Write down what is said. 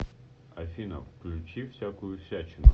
афина включи всякую всячину